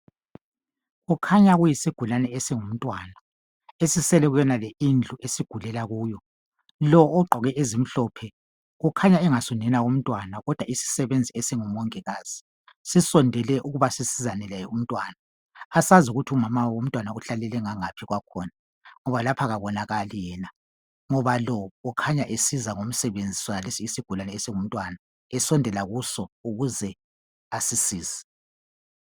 kukhanya kuyisigulane esingumntwana esisele kuyonale indlu esigulela kuyo lo ogqoke ezimhlophe kukhanya engasunina womntwana kodwa isisebenzi esingumongikazi sisondele ukuba sisizane laye umntwana asazi ukuthi umama womntwana uhlalele ngangaphi kwakhona ngoba lapha kabonakali yena ngoba lo ukhanya esiza ngomsebenzi sonalesi isigulane esingumntwana esondela kuso ukuze asisize